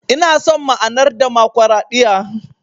Ina son ma'anar Damakwaraɗiyya.